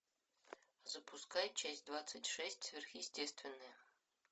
запускай часть двадцать шесть сверхъестественное